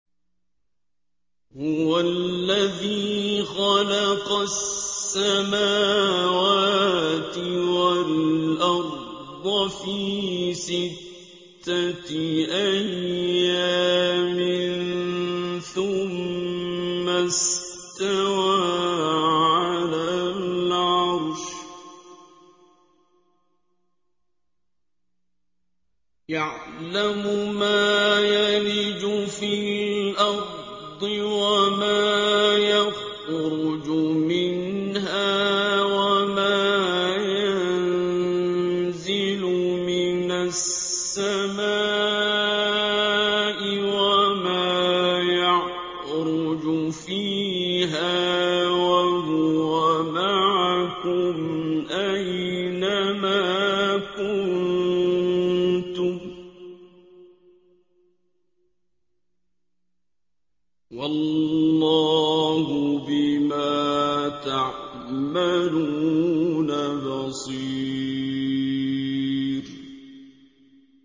هُوَ الَّذِي خَلَقَ السَّمَاوَاتِ وَالْأَرْضَ فِي سِتَّةِ أَيَّامٍ ثُمَّ اسْتَوَىٰ عَلَى الْعَرْشِ ۚ يَعْلَمُ مَا يَلِجُ فِي الْأَرْضِ وَمَا يَخْرُجُ مِنْهَا وَمَا يَنزِلُ مِنَ السَّمَاءِ وَمَا يَعْرُجُ فِيهَا ۖ وَهُوَ مَعَكُمْ أَيْنَ مَا كُنتُمْ ۚ وَاللَّهُ بِمَا تَعْمَلُونَ بَصِيرٌ